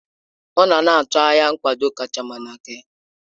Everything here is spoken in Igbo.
Ọ nọ na-atụ anya nkwado kacha mma n'aka ya.